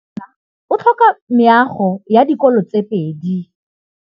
Motse warona o tlhoka meago ya dikolô tse pedi.